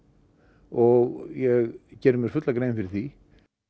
og ég geri mér fulla grein fyrir því